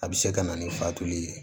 A bɛ se ka na ni fatuli ye